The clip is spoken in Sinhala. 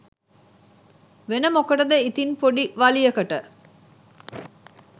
වෙන මොකටද ඉතින් පොඩි වලියකට